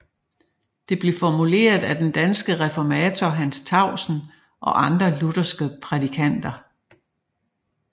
Det blev formuleret af den danske reformator Hans Tausen og andre lutherske prædikanter